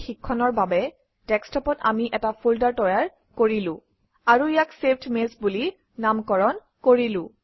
এই শিক্ষণৰ বাবে ডেস্কটপত আমি এটা ফল্ডাৰ তৈয়াৰ কৰিলো আৰু ইয়াক চেভড মেইলছ বুলি নামকৰণ কৰিলো